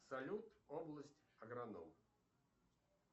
салют область агроном